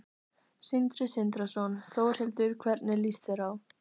Sindri Sindrason: Þórhildur, hvernig lýst þér á?